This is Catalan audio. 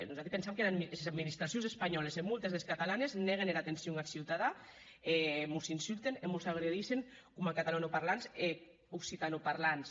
nosati pensam qu’es administracions espanhòles e moltes des catalanes nèguen era atencion ath ciutadan e mos insulten e mos agredissen coma catalanoparlants e occitanoparlants